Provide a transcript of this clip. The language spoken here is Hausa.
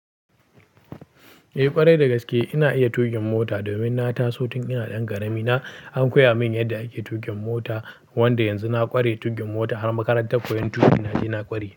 Eh ƙwarai dagaske ina iya tuƙin mota, domin na taso tun ina ɗan ƙarami na an koya min yadda ake tuƙin mota wanda yanzu na ƙware tuƙin mota har makarantar koyon tuƙi na je na ƙware.